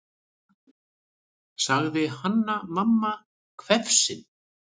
sagði Hanna-Mamma hvefsin.